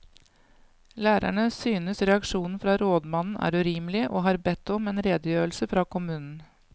Lærerne synes reaksjonen fra rådmannen er urimelig, og har bedt om en redegjørelse fra kommunen.